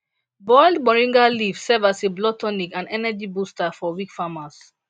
boiled moringa leaves serve as a blood tonic and energy booster for weak farmers